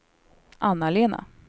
Anna-Lena